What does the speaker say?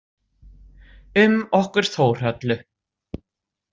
Um okkur Þórhöllu?